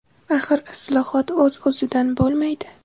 Axir islohot o‘z-o‘zidan bo‘lmaydi.